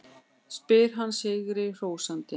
spyr hann sigri hrósandi.